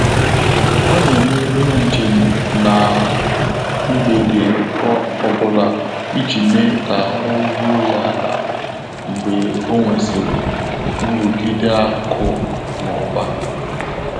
Ọ́ nà-émé óbèré njém n’á mgbèdé ọ́ bụ́lá ìjí mèé kà áhụ́ rúó yá álá mgbè ọ́ nwèsị́rị̀ nrụ́gídé ákụ̀ nà ụ́bà.